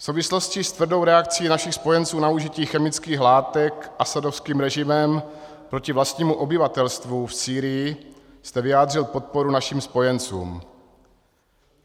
V souvislosti s tvrdou reakcí našich spojenců na užití chemických látek asadovským režimem proti vlastnímu obyvatelstvu v Sýrii jste vyjádřil podporu našim spojencům.